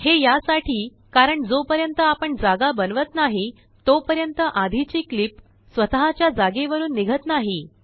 हे यासाठी कारण जोपर्यंत आपण जागा बनवत नाही तोपर्यंत आधीचीक्लिप स्वतःच्या जागेवरून निघत नाही